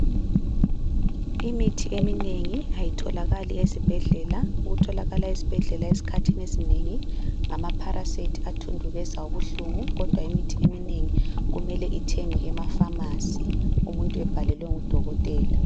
Imithi eminengi ayitholakali esibhedlela. Okutholakala esibhedlela esikhathini esinengi ngama Paracet athundubeza ubuhlungu, kodwa imithi eminengi kumele ithengwe emafamasi umuntu ebhalelwe ngudokotela.